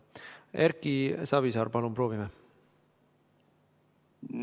Erki Savisaar, palun proovime!